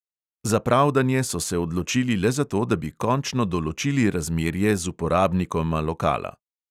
Za pravdanje so se odločili le zato, da bi končno določili razmerje z uporabnikoma lokala.